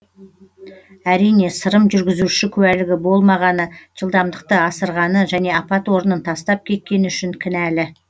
әрине сырым жүргізуші куәлігі болмағаны жылдамдықты асырғаны және апат орнын тастап кеткені үшін кінәлі